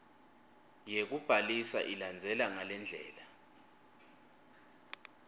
yekubhalisa ilandzela ngalendlela